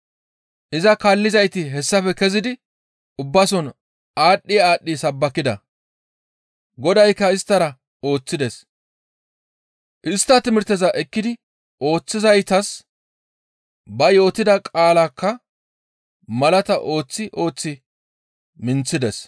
Iza kaallizayti hessafe kezidi ubbason aadhdhi aadhdhi sabbakida. Godaykka isttara ooththides. Istta timirteza ekkidi ooththizaytas ba yootida qaalakka malaata ooththi ooththi minththides.